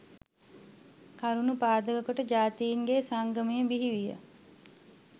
කරුණු පාදක කොට ජාතීන්ගේ සංගමය බිහිවිය